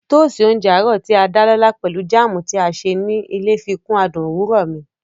Tóósi oúnjẹ àárọ̀ tí a dá lọ́lá pelu jáàmù tí a ṣe ní ilé fikún adùn òwúrọ̀ mi